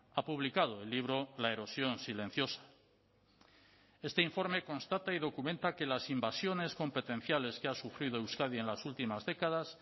ha publicado el libro la erosión silenciosa este informe constata y documenta que las invasiones competenciales que ha sufrido euskadi en las últimas décadas